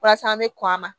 Walasa an bɛ kɔn a ma